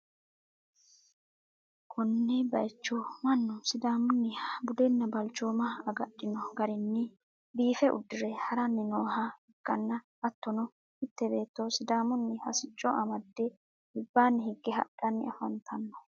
konne bayicho mannu sidaamunniha budenna balchooma agadhino garinni biife uddire ha'ranni nooha ikkanna, hattono, mitte beetto sidaamunniha sicco amadde albaanni higge hadhani afantanno.